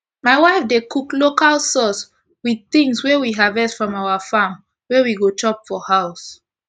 my wife dey cook local sauce with things wey we harvest from our farm wey we go chop for house